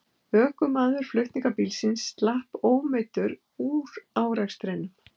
Ökumaður flutningabílsins slapp ómeiddur úr árekstrinum